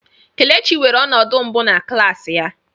Kelechi weere ọnọdụ mbụ na klas ya.